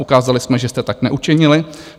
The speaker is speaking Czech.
Ukázali jsme, že jste tak neučinili.